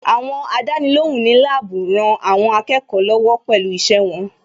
Àwọn Àdánilóhùn ní láàbù rán àwọn akẹ́kọ̀ọ́ lọ́wọ́ pẹ̀lú iṣẹ́ wọn